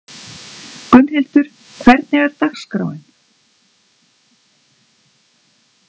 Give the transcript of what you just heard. Gunnhildur, hvernig er dagskráin?